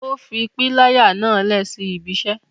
O fi pilaya náa lẹ si ibi iṣẹ